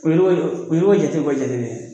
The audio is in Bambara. Olu bɛ olu bɛ jate bɔ jate bɛɛ ye